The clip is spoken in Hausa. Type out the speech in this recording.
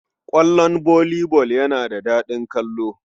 Ƙwallon volley ball yana da daɗin kallo.